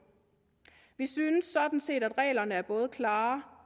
vi synes sådan set at reglerne er både klare